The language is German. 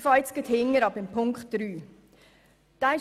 Ich beginne am Ende bei Ziffer 3.